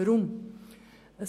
Weshalb dies?